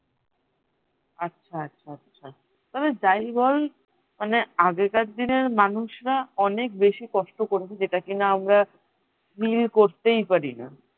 আচ্ছা আচ্ছা আচ্ছা তবে যাই বল মানে আগেকার দিনের মানুষরা অনেক বেশি কষ্ট করেছে যেটা কিনা আমরা fill করতেই পারিনা